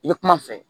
I bɛ kuma n fɛ